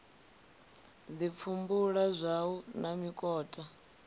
ḓi pfumbula zwawe na mikoṱa